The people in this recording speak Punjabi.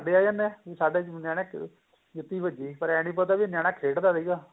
ਆ ਜਾਣੇ ਏ ਸਾਰੇ ਜਾਣੇ ਜੁਤੀ ਵਜੀ ਪਰ ਏ ਨੀ ਪਤਾ ਨਿਆਣਾ ਖੇਡਦਾ ਸੀਗਾ